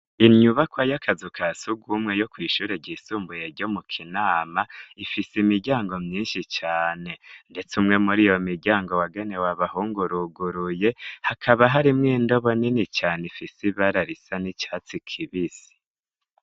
Inyubakwa y'akazuka sugumwe yo kw'ishure ryisumbuye ryo mu kinama ifise imiryango myinshi cane, ndetse umwe muri iyo miryango wagane wabahunguruguruye hakaba harimwo indobo nini cane ifise ibararisa n'icatsi kibisi.